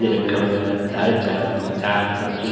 یہ رکھا ہوا ہے۔ دال، چاول، آچر، سبجی --